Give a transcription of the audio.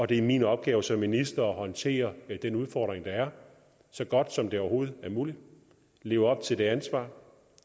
det er min opgave som minister at håndtere den udfordring der er så godt som overhovedet muligt og leve op til det ansvar